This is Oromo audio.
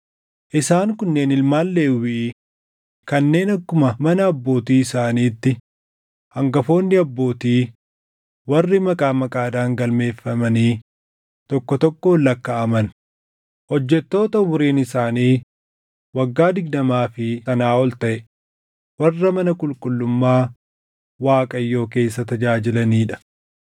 Isaan kunneen ilmaan Lewwii kanneen akkuma mana abbootii isaaniitti hangafoonni abbootii warri maqaa maqaadhaan galmeeffamanii tokko tokkoon lakkaaʼaman, hojjettoota umuriin isaanii waggaa digdamaa fi sanaa ol taʼe warra mana qulqullummaa Waaqayyoo keessa tajaajilanii dha.